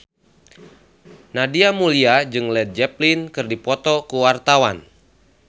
Nadia Mulya jeung Led Zeppelin keur dipoto ku wartawan